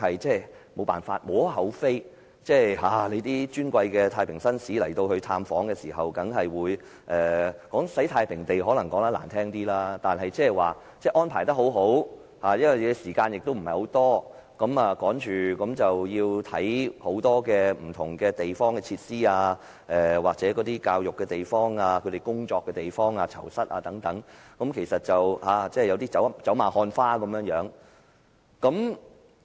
這點亦無可厚非，當尊貴的太平紳士到訪時——如果說是"洗太平地"當然是比較難聽一點——但仍可說是安排得很好，探訪時間亦不長，匆忙地參觀多項不同設施、接受教育的地方、工作的地方和囚室等，其實是有一點走馬看花之感。